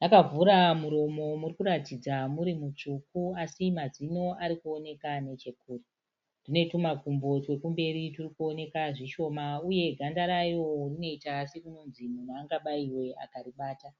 Rakavhura muromo murikuratidza murimutsvuku asi mazino arikuoneka nechekunze. Rine tumakumbo twekumberi turikuoneka zvishoma, uye ganda rayo rinoita sekunonzi munhu angabayiwe akaribata.